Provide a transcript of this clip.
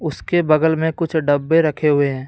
उसके बगल में कुछ डब्बे रखे हुए हैं।